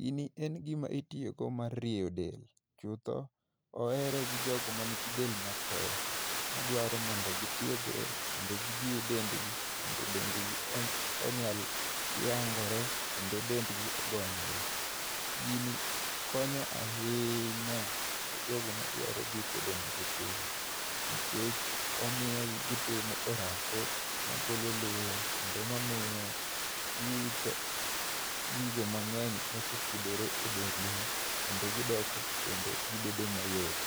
Gini en gima itiyogo mar rieyo del. Chutho, ohere gi jok ma nigi del mapek, madwaro mondo gitiegre, kendo gijiw dendgi, mondo dendgi onyal yangore, kendo dendgi ogonyore. Gini konyo ahinya, e jogo madwaro dwoko dendgi piny. Nikech, omiyo gi gitimo orako magolo luya, kendo mamiyo giwito gigo mangény, mosekuodore e dendgi. Kendo gidoko kendo gibedo mayot.